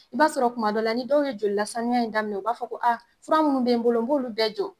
I b'a sɔrɔ kuma dɔ la ni dɔw ye joli la sanuya in daminɛ u b'a fɔ ko a fura munnu bɛ n bolo n b'olu bɛɛ jɔ